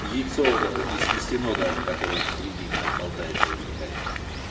яйцо вот это не снесено даже которое в середине там болтается вытекает